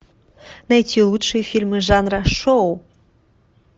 найти лучшие фильмы жанра шоу